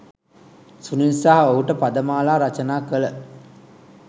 සුනිල් සහ ඔහුට පදමාලා රචනා කළ